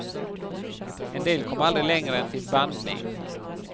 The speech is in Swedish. En del kom aldrig längre än till bandning.